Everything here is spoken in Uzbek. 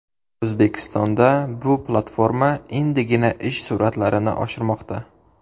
O‘zbekistonda bu platforma endigina ish sur’atlarini oshirmoqda.